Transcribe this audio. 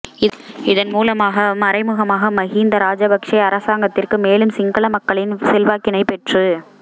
இதன் மூலமாக மறைமுகமாக மஹிந்த ராஜபக்ஷ அரசாங்கத்திற்கு மேலும் சிங்கள மக்களின் செல்வாக்கினை பெற்றுக்